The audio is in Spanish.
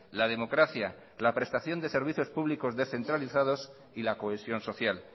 la democracia la prestación de servicios públicos descentralizados y la cohesión social